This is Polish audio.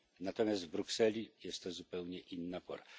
Natomiast w Brukseli jest to zupełnie inna pora.